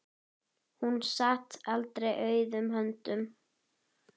Hún sat aldrei auðum höndum.